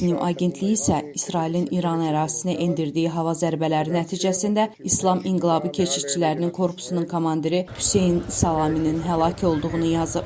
Tasnim agentliyi isə İsrailin İran ərazisinə endirdiyi hava zərbələri nəticəsində İslam İnqilabı Keşişçilərinin Korpusunun komandiri Hüseyn Səlaminin həlak olduğunu yazıb.